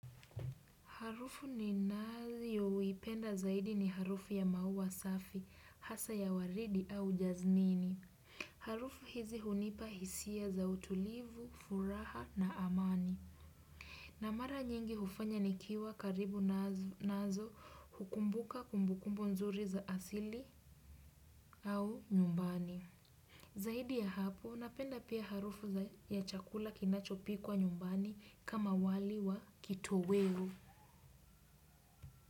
Harufu ninayoipenda zaidi ni harufu ya maua safi, hasa ya waridi au jaznini. Harufu hizi hunipa hisia za utulivu, furaha na amani. Na mara nyingi hufanya nikiwa karibu nazo hukumbuka kumbukumbu nzuri za asili au nyumbani. Zaidi ya hapo, napenda pia harufu ya chakula kinachopikwa nyumbani kama wali wa kitoweo.